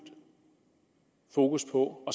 fokus på at